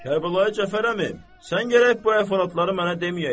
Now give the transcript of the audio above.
Kərbəlayi Cəfər əmi, sən gərək bu əhvalatları mənə deməyəydin.